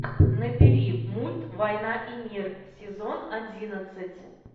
набери мульт война и мир сезон одиннадцать